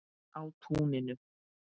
Á túninu.